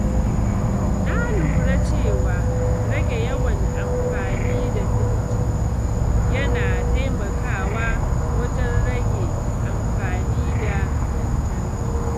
Na lura cewa rage yawan amfani da firji yana taimakawa wajen rage amfani da lantarki.